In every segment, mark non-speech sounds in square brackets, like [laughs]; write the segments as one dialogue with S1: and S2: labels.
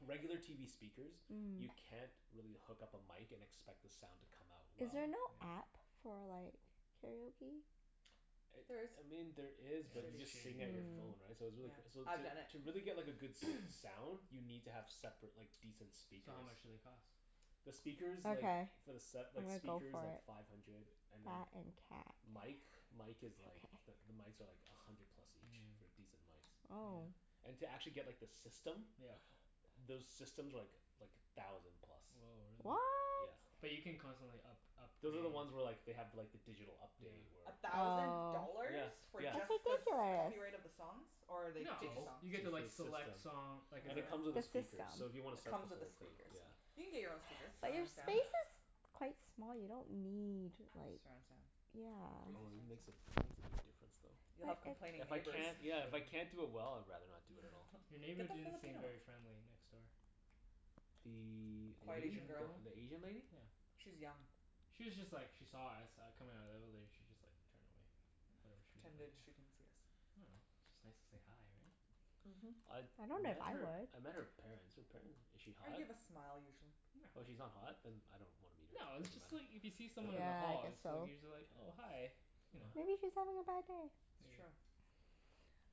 S1: regular TV speakers you
S2: Mm.
S1: can't really hook up a mic and expect the sound to come out
S2: Is
S1: well.
S2: there
S3: Mhm.
S4: Yeah.
S2: no app for like karaoke?
S1: [noise] It,
S3: There is.
S1: I mean, there
S4: Yeah,
S1: is but you
S4: it's
S3: Shitty.
S1: just
S4: shitty
S1: sing at your
S4: though,
S1: phone,
S2: Mm.
S4: yeah.
S1: right? So it's
S3: Yeah.
S1: really c- so
S3: I've
S1: to
S3: done it.
S1: to really get like a good s-
S4: [noise]
S1: sound You need to have separate like decent
S4: So how
S1: speakers.
S4: much do they cost?
S1: The speakers like
S2: Okay.
S1: for the set,
S2: I'm
S1: like
S2: gonna go
S1: speakers,
S2: for
S1: like
S2: it.
S1: five hundred. And then
S2: That and cat.
S1: mic mic
S2: Okay.
S1: is like the the mics are like a hundred plus
S4: Mm,
S1: each.
S4: yeah.
S1: For decent mics.
S2: Oh.
S1: And to actually get like the system
S4: Yeah.
S1: Those systems are like like a thousand plus.
S4: Woah, really?
S2: What?
S1: Yeah.
S4: But you can constantly up- upgrade
S1: Those are the ones where like they have like the digital update
S4: Yeah.
S1: where
S3: A thousand
S2: Oh.
S1: Yeah.
S3: dollars? For
S1: Yeah.
S3: just the s-
S2: That's ridiculous.
S3: copyright of the songs? Or are they
S1: To
S3: fake
S4: No.
S1: just
S3: songs?
S4: You get
S1: make sure
S4: to like
S1: the system
S4: select song, like a
S1: Cuz
S3: Ah, it
S1: it
S3: comes
S1: comes with
S2: The
S1: a
S2: system.
S1: speaker, so if you wanna set the
S3: with the
S1: whole thing,
S3: speakers.
S1: yeah.
S3: You can get your own speakers.
S2: But your
S3: Surround sound.
S1: Yeah.
S2: space is quite small. You don't need like
S3: Surround sound. Crazy
S1: Oh
S2: Yeah.
S1: it
S3: surround
S1: makes a,
S3: sound.
S1: it makes a big difference though.
S3: You'll have complaining
S2: But it's
S1: If I
S3: neighbors.
S1: can't, yeah, if I
S4: Yeah.
S1: can't do it well I'd rather not do it at all.
S4: Your
S3: [laughs]
S4: neighbor
S3: Get the
S4: didn't seem
S3: Filipino one.
S4: very friendly, next door.
S1: The
S4: The
S3: Quiet
S1: A-
S3: Asian
S4: Asian
S3: girl.
S4: girl.
S1: the Asian lady?
S4: Yeah.
S3: She's young.
S4: She was just like, she saw us uh coming outta the evelator. She just like turned away.
S3: Oh,
S4: Whatever she
S3: pretended she
S4: [inaudible]
S3: didn't see us.
S4: I dunno. It's just nice to say hi, right?
S3: Mhm.
S1: I've
S2: I don't know if
S1: met
S2: I
S1: her,
S2: would.
S1: I met her parents. Her paren- is she
S3: I
S1: hot?
S3: give a smile usually.
S4: No.
S1: Oh, she's not hot? Then I don't wanna meet
S4: No,
S1: her.
S4: it's
S1: Doesn't
S4: just like
S1: matter.
S4: if you see someone in the
S1: Okay.
S2: Yeah, I
S4: hall
S2: guess
S4: it's like
S2: so.
S4: you're just like, "Oh, hi."
S1: Okay.
S4: You know?
S1: Yeah.
S2: Maybe she's having a bad day.
S3: It's
S4: Maybe.
S3: true.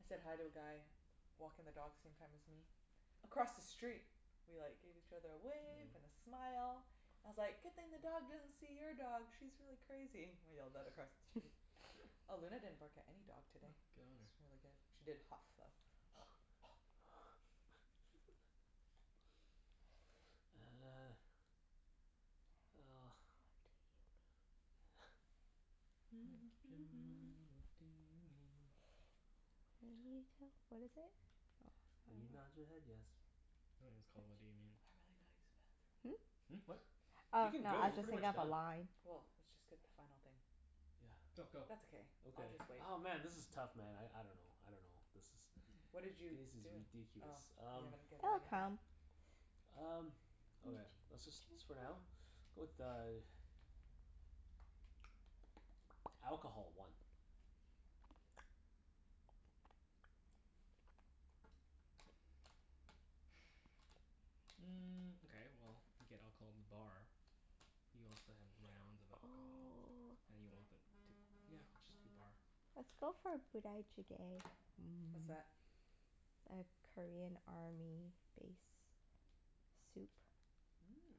S3: I said hi to a guy walking the dogs same time as me across the street. We like gave each other a wave and
S4: Yeah.
S3: a smile. I was like, "Good thing the dog doesn't see your dog. She's really crazy." I yelled that across the street.
S2: [laughs]
S3: Oh, Luna didn't
S4: [laughs]
S3: bark at any dog
S4: Oh,
S3: today.
S4: good on her.
S3: It's really good. She did huff, though. [noise]
S1: Uh. Well.
S2: What do you mean?
S1: [noise]
S4: Make up your
S3: [noise]
S4: mind. What do you mean?
S2: When you tell, what is it?
S1: When you nod your
S2: Oh, [inaudible]
S1: head yes.
S4: I think it's called, "What Do You Mean?"
S3: I've really gotta use the
S2: Hmm?
S3: bathroom.
S4: Hmm, what?
S2: Oh,
S1: You can
S2: no,
S1: go.
S2: I
S1: We're
S2: was just
S1: pretty
S2: thinking
S1: much
S2: of the
S1: done.
S2: line.
S3: Well, let's just get the final thing.
S1: Yeah.
S4: Go,
S3: That's
S4: go.
S3: okay. I'll
S1: Okay.
S3: just wait.
S1: Oh, man, this is tough man. I I dunno. I dunno. This is
S3: What
S1: This
S3: did you
S1: is
S3: do? Oh,
S1: ridiculous.
S3: you
S1: Um
S3: haven't given
S2: It'll
S3: anything?
S2: come.
S1: Um, okay. Let's just s- for now? Go with uh [noise] Alcohol. One.
S4: [noise] Mm, okay, well you get alcohol in the bar. You also have rounds of
S2: Oh.
S4: alcohol. And you want them t- yeah, just the bar.
S2: Let's go for Budae Jjigae.
S3: What's
S2: Mmm.
S3: that?
S2: A Korean army base soup.
S3: Mmm.